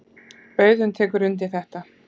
Auðunn tekur undir þetta.